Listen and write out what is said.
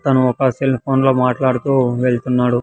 తాను ఒక సెల్ఫోన్ లో మాట్లాడుతూ వెళ్తున్నాడు.